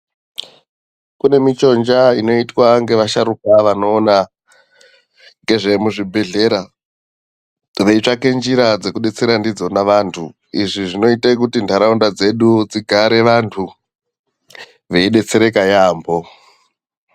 Kune michonja inoitwa ngevasharuka vanoona ngezvemuzvibhehlera veitsvake njira dzekudetsera ndidzona vantu izvi zvinoite kuti nharaunda dzedu dzigare vantu veidetsereka yaamho.